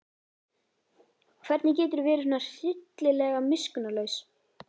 Hvernig geturðu verið svona hryllilega miskunnarlaus?